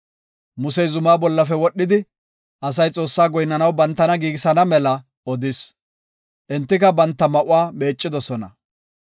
Musey zumaa bollafe wodhidi, asay Xoossaa goyinnanaw bantana giigisana mela odis. Entika banta ma7uwa meeccidosona.